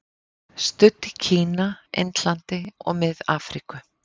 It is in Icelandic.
Studd í Kína, Indlandi og Mið-Afríku.